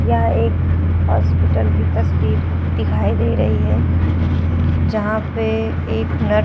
यह एक हॉस्पिटल की तस्वीर दिखाई दे रही है जहां पे एक नर --